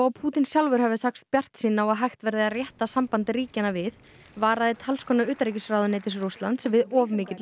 Pútín sjálfur hafi sagst bjartsýnn á að hægt verði að rétta samband ríkjanna við varaði talskona utanríkisráðuneytis Rússlands við of mikilli